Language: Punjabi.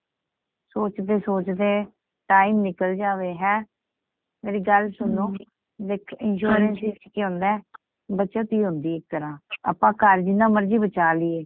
ਸੋਚਦੇ ਸੋਚਦੇ time ਨਿਕਲ ਜਾਵੇ ਹੈ ਮੇਰੀ ਗੱਲ ਸੁਣੋ ਦੇਖ insurance ਚ ਕਿ ਹੁੰਦਾ ਬਚਤ ਹੀ ਹੁੰਦੀਂ ਆਏ ਇੱਕ ਤਰ੍ਹਾਂ ਆਪਾਂ ਘਰ ਬਚਾ ਲੀਯੇ